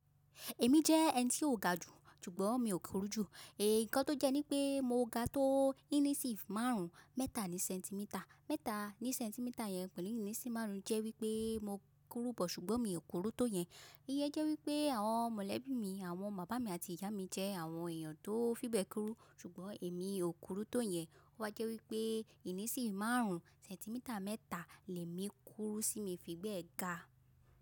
Èmi jẹ́ ẹni tí ó ga jù, ṣùgbọ́n mi ò kúrú jù. Ẹ̀, ǹkan tó jẹ́ ní pé mo ga tó ìníṣìn marun mẹ́ta ní sẹ́ńtímítà. Mẹ́ta ní sẹ́ńtímítà yẹn pẹ̀lú ìníṣìn marun jẹ́ wípé mo kúrú bọ̀ ṣùgbọ́n mi ò kúrú tó yẹn. Iye jẹ́ wípé àwọn mọ̀lẹ́bí mi, àwọn bàbá mi àti ìyá mi jẹ́ àwọn èèyàn tó fi bẹ́ẹ̀ kúrú, ṣùgbọ́n èmi ò kúrú tó yẹn. Ó wa jẹ́ wípé ìníṣìn marun, sẹ́ńtímítà mẹ́ta lẹ́mi kúrú tí mo fi bẹ́ẹ̀ ga.